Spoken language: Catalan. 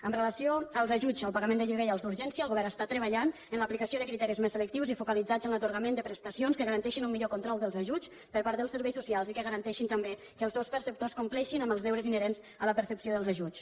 amb relació als ajuts al pagament de lloguer i als d’urgència el govern està treballant en l’aplicació de criteris més selectius i focalitzats en l’atorgament de presta cions que garanteixin un millor control dels ajuts per part dels serveis socials i que garanteixin també que els seus perceptors compleixin amb els deures inherents a la percepció dels ajuts